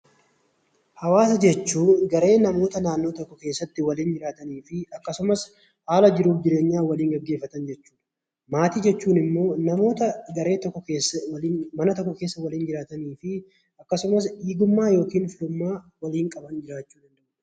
Hawaasa jechuun garee namoota naannoo tokko keessatti waliin jiraatanii fi akkasumas haala jiruuf jireenyaa waliin gaggeeffatan jechuudha. Maatii jechuun immoo namoota garee mana tokko keessa waliin jiraatanii fi akkasumas dhiigummaa yookiin firummaa waliin qaban jechuudha.